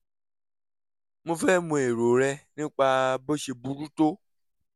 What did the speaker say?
mo fẹ́ mọ èrò rẹ nípa bó ṣe burú tó